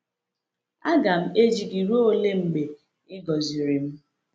“Aga m ejighi gị laa ruo mgbe i gọziri m.”